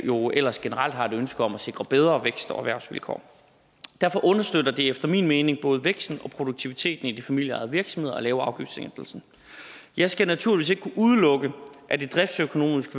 jo ellers generelt har et ønske om at sikre bedre vækst og erhvervsvilkår derfor understøtter det efter min mening både væksten og produktiviteten i de familieejede virksomheder at lave afgiftssænkelsen jeg skal naturligvis ikke kunne udelukke at det driftsøkonomisk